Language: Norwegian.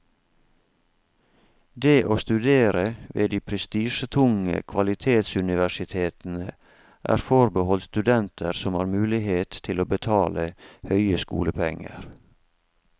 Det å studere ved de prestisjetunge kvalitetsuniversitetene er forbeholdt studenter som har mulighet til å betale høye skolepenger.